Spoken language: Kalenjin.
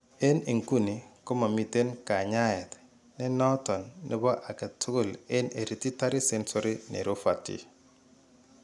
En inguni komaamiten kanyaayet ne nooton nebo age tugul en hereditary sensory neuropathy